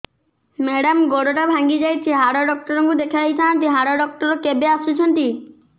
madam ଗୋଡ ଟା ଭାଙ୍ଗି ଯାଇଛି ହାଡ ଡକ୍ଟର ଙ୍କୁ ଦେଖାଇ ଥାଆନ୍ତି ହାଡ ଡକ୍ଟର କେବେ ଆସୁଛନ୍ତି